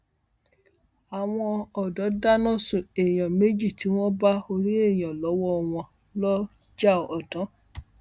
àwọn ọdọ dáná sun èèyàn méjì tí wọn bá orí èèyàn lọwọ wọn lọjàọdàn